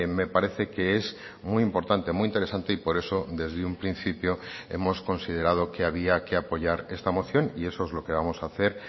me parece que es muy importante muy interesante y por eso desde un principio hemos considerado que había que apoyar esta moción y eso es lo que vamos a hacer